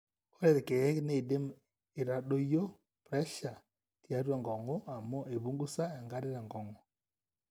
ore irkeek neidim eitadoyio pressure tiatwa enkong'u amu eipungusa enkare tenkong'u